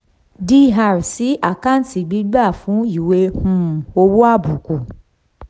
dr sí àkáǹtì gbígbà fún ìwé um owó àbùkù